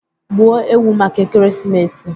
Gbuo ewu maka ekeresimesi